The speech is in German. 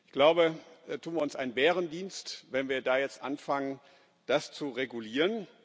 Ich glaube, wir tun uns einen Bärendienst, wenn wir da jetzt anfangen, das zu regulieren.